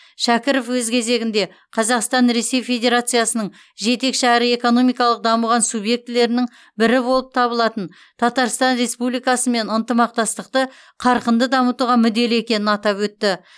шәкіров өз кезегінде қазақстан ресей федерациясының жетекші әрі экономикалық дамыған субъектілерінің бірі болып табылатын татарстан республикасымен ынтымақтастықты қарқынды дамытуға мүдделі екенін атап өтті